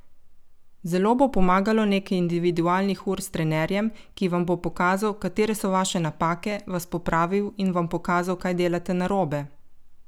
Zelo bo pomagalo nekaj individualnih ur s trenerjem, ki vam bo pokazal, katere so vaše napake, vas popravil in vam pokazal, kaj delate narobe.